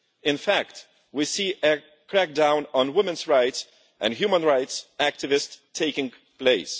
In fact, we see a crackdown on women's rights and human rights activists taking place.